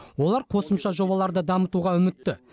олар қосымша жобаларды дамытуға үмітті